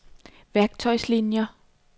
værktøjslinier